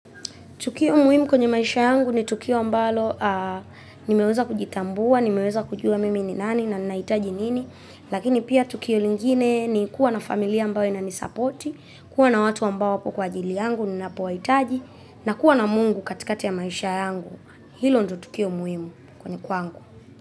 Tukio muhimu kwenye maisha yangu ni tukio ambalo nimeweza kujitambua, nimeweza kujua mimi ni nani na nahitaji nini. Lakini pia tukio lingine ni kuwa na familia ambayo inanisapoti, kuwa na watu ambao wapo kwa ajili yangu ninapowahitaji, na kuwa na Mungu katikati ya maisha yangu. Hilo ndio tukio muhimu kwenye kwangu.